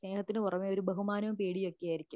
സ്നേഹത്തിന് കുറവ് ഒരു ബഹുമാനവും പേടിയുമൊക്കെ ആയിരിക്കും